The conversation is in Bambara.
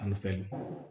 An bɛ fɛn